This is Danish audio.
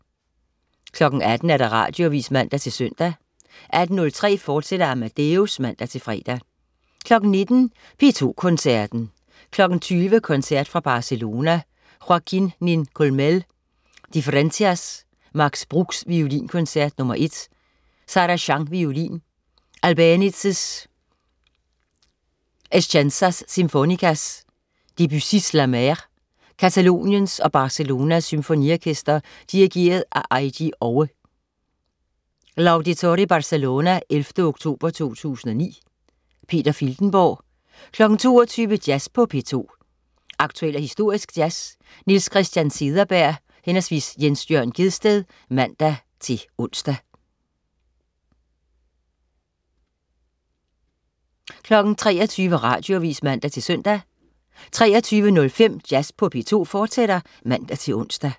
18.00 Radioavis (man-søn) 18.03 Amadeus, fortsat (man-fre) 19.00 P2 Koncerten. 20.00 Koncert fra Barcelona. Joaquin Nin-Culmell: Diferencias. Max Bruch: Violinkoncert nr. 1. Sarah Chang, violin. Albéniz: Escenas sinfónicas. Debussy: La Mer. Cataloniens og Barcelonas Symfoniorkester. Dirigent: Eiji Oue. (L'Auditori Barcelona 11. oktober 2009). Peter Filtenborg 22.00 Jazz på P2. Aktuel og historisk jazz. Niels Christian Cederberg/Jens Jørn Gjedsted (man-ons) 23.00 Radioavis (man-søn) 23.05 Jazz på P2, fortsat (man-ons)